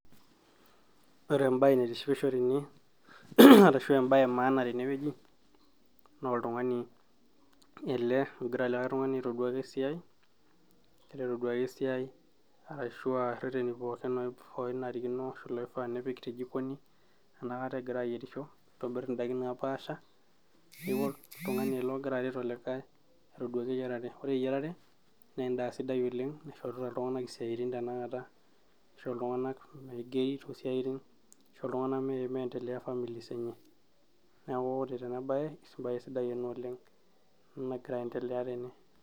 ore embaye naitishipisho tene arashu embaye e maana tenewueji naa oltung'ani ele ogira likay tung'ani aitoduaki esiai, egira aitoduaki esiai arashu aa irreteni pookin oonarikino ashu iloifaa nipik te jikoni aenakata egira ayierisho aitobirr indaiki napaasha neeku oltung'ani ele ogira aret olikay aitoduaki eyiarare, ore eyiarare naa endaa sidai oleng naishorita iltung'anak isiaitin oleng tenakata ashu iltung'anak meigeri toosiaitin, ashu iltung'anak miendeleya families enye neeku ore tena baye, embaye sidai ena oleng ena nagira ae endelea tene.